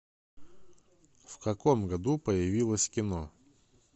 в каком году появилось кино